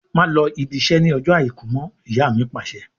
Má lọ ibi iṣẹ́ ni ọjọ́ Àìkú mọ! Ìyá mi Pàṣẹ.